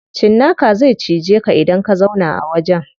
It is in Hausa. Cinnaka zai cije ka idan ka zauna a wajen.